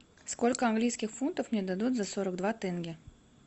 сколько английских фунтов мне дадут за сорок два тенге